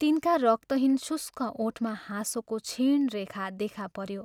तिनका रक्तहीन शुष्क ओठमा हाँसोको क्षीण रेखा देखा पऱ्यो